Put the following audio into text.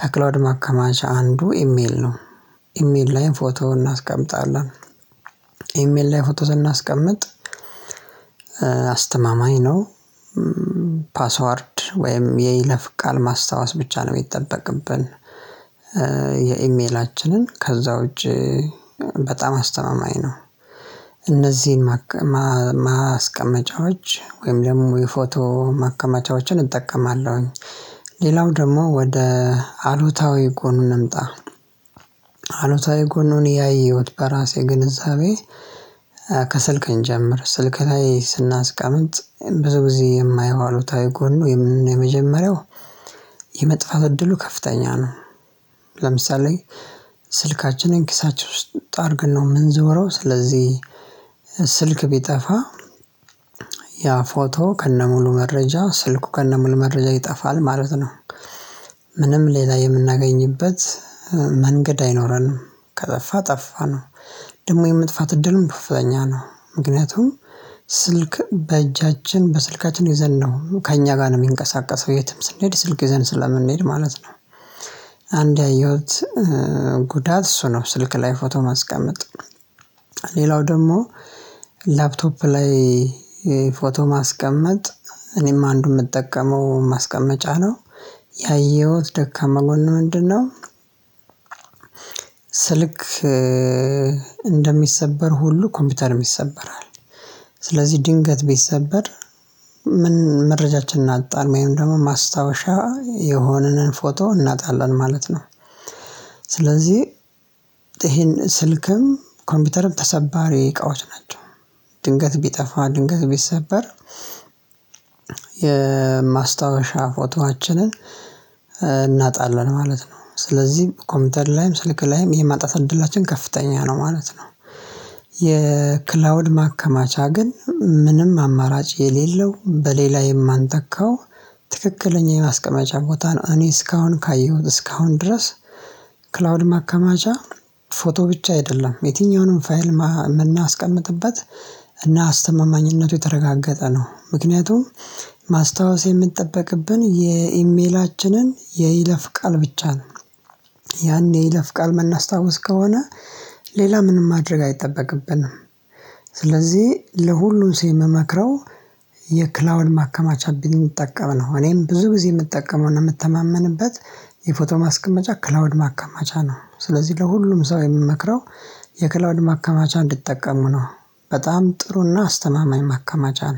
ከክላውድ ማከማቻ አንዱ ኢሜል ነው። ኢሜል ላይም ፎቶ እናስቀምጣለን። ኢሜል ላይ ፎቶ ስናስቀምጥ አስተማማኝ ነው። ፓስወርድ ወይም የይለፍ ቃል ማስታወስ ብቻ ነው የሚጠበቅብን። የኢሜላችንን ከዛ ውጪ በጣም አስተማማኝ ነው። እነዚህን ማስቀመጫዎች ወይም ደግሞ የፎቶ ማከማቻዎችን እጠቀማለሁኝ። ሌላው ደግሞ ወደ አሉታዊ ጎኑ እንምጣ። አሉታዊ ጎኑን ያየሁት በራሴ ግንዛቤ ከስልከ እንጀምር ስልክ ላይ ስናስቀምጥ ብዙ ጊዜ የማየው አሉታዊ ጎኑ የመጀመሪያው የመጥፋት እድሉ ከፍተኛ ነው። ለምሳሌ ስልካችንን ኪሳቸው ውስጥ አድርገን ነው የምንዞረው። ስለዚህ ስልክ ቢጠፋ ያ ፎቶ ከነሙሉ መረጃ ስልኩ ከነሙሉ መረጃ ይጠፋል ማለት ነው። ምንም ሌላ የምናገኝበት መንገድ አይኖረንም ከጠፋ ጠፋ ነው። ደግሞ የመጥፋት እድሉም ከፍተኛ ነው። ምክንያቱም ስልክ በእጃችን በስልካችን ይዘን ነው ከእኛ ጋር ነው የሚንቀሳቀሰው የትም ስንሄድ ስልክ ይዘን ስለምንሄድ ማለት ነው። አንድ ያየሁት ጉዳት እሱ ነው ስልክ ላይ ፎቶ ማስቀመጥ። ሌላው ደግሞ ላፕቶፕ ላይ ፎቶ ማስቀመጥ እኔም አንዱን የምጠቀመው ማስቀመጫ ነው። ያየሁት ደካማ ጎን ምንድነው? ስልክ እንደሚሰበር ሁሉ ኮምፒውተርም ይሰበራል። ስለዚህ ድንገት ቢሰበር ምን መረጃችን እጣን ወይም ደግሞ ማስታወሻ የሆነን ፎቶ እናጣለን ማለት ነው። ስለዚህ ይሄን ስልክም ኮምፒውተርም ተሰባሪ እቃዎች ናቸው። ድንገት ቢጠፋ ድንገት ቢሰበር የማስታወሻ ፎቶአችንን እናጣለን ማለት ነው። ስለዚህ ኮምፒውተር ላይም ስልክ ላይም የማጣት እድላችን ከፍተኛ ነው ማለት ነው። የክላውድ ማከማቻ ግን ምንም አማራጭ የሌለው በሌላ የማንተካው ትክክለኛ የማስቀመጫ ቦታ ነው። እኔ እስካሁን ካየሁት እስካሁን ድረስ ክላውድ ማከማቻ ፎቶ ብቻ አይደለም የትኛውንም ፋይል የምናስቀምጥበት እና አስተማማኝነቱ የተረጋገጠ ነው። ምክንያቱም ማስታወስ የምንጠብቅብን የኢሜላችንን የይለፍ ቃል ብቻ ነው። ያን የይለፍ ቃል ምናስታውስ ከሆነ ሌላ ምንም ማድረግ አይጠበቅብንም። ስለዚህ ለሁሉም ሰው የምመክረው የክላውድ ማከማቻ ብንጠቀም ነው። እኔም ብዙ ጊዜ የምጠቀመው እና የምትተማመንበት የፎቶ ማስቀመጫ ክላውድ ማከማቻ ነው። ስለዚህ ለሁሉም ሰው የምመክረው የክላውድ ማከማቻ እንድትጠቀሙ ነው። በጣም ጥሩና አስተማማኝ ማከማቻ ነው